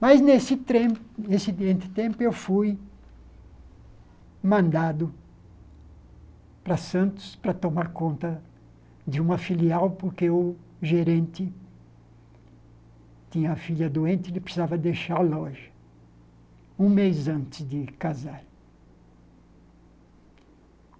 Mas, nesse trem nesse entre tempo, eu fui mandado para Santos para tomar conta de uma filial, porque o gerente tinha a filha doente e ele precisava deixar a loja um mês antes de casar.